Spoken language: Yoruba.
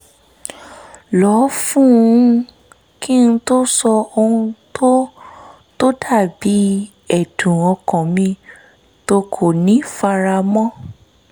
lọ fún un kí n tó sọ ohun tó tó dà bí ẹ̀dùn ọkàn mi tó kò ní fara mọ́